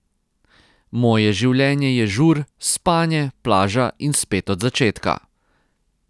Moje življenje je žur, spanje, plaža in spet od začetka.